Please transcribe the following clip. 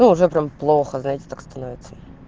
ну уже прям плохо знаете так становится